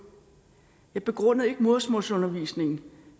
jeg begrundede ikke modersmålsundervisning